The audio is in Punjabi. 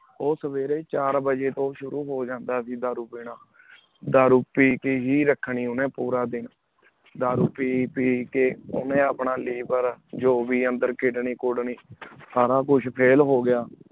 ਊਸਾਵੇਰੀ ਹੀ ਚਾਰ ਵਜੀ ਸ਼ੁਰੂ ਹੂ ਜਾਂਦਾ ਸੀ ਗਾ ਦਾਰੁਨ ਪੀਨਾ ਦਾਰੂ ਪੀ ਕੀ ਹੇ ਰਖਨੀ ਉਨੀਂ ਪੂਰਾ ਦੇਣ ਦਾਰੂ ਪੀ ਪੀ ਕੀ ਉਨੀਂ ਆਪਣਾ lever ਜੋ ਵੇ ਅੰਦਰ kidney ਕੁਡਨੀ ਸਾਰਾ ਕੁਛ ਫੇਲ ਹੂ ਗਯਾ